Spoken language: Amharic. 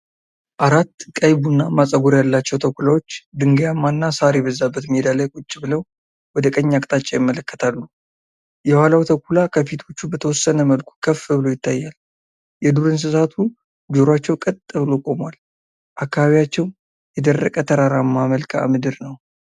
አራት ቀይ ቡናማ ጸጉር ያላቸው ተኩላዎች ድንጋያማና ሣር የበዛበት ሜዳ ላይ ቁጭ ብለው ወደ ቀኝ አቅጣጫ ይመለከታሉ። የኋላው ተኩላ ከፊቶቹ በተወሰነ መልኩ ከፍ ብሎ ይታያል። የዱርእንስሳቱ ጆሮአቸው ቀጥ ብሎ ቆሟል። አካባቢያቸው የደረቀ ተራራማ መልክአ ምድር ነው።